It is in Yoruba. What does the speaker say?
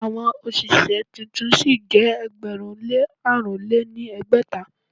Àwọn òṣìṣẹ́ tuntun sí jẹ́ ẹgbẹ̀rún lé àrùn lé ní ẹgbẹ́ta.